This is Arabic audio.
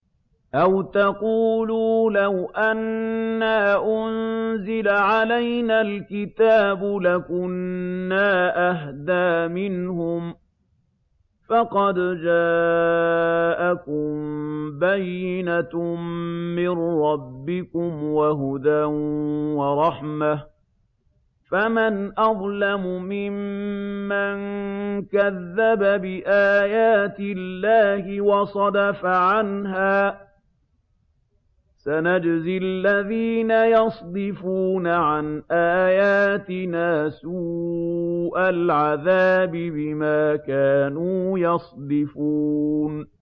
أَوْ تَقُولُوا لَوْ أَنَّا أُنزِلَ عَلَيْنَا الْكِتَابُ لَكُنَّا أَهْدَىٰ مِنْهُمْ ۚ فَقَدْ جَاءَكُم بَيِّنَةٌ مِّن رَّبِّكُمْ وَهُدًى وَرَحْمَةٌ ۚ فَمَنْ أَظْلَمُ مِمَّن كَذَّبَ بِآيَاتِ اللَّهِ وَصَدَفَ عَنْهَا ۗ سَنَجْزِي الَّذِينَ يَصْدِفُونَ عَنْ آيَاتِنَا سُوءَ الْعَذَابِ بِمَا كَانُوا يَصْدِفُونَ